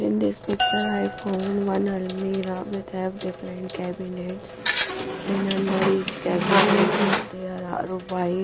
in this picture i found one almirah with have different cabinets and under each cabinets there are white--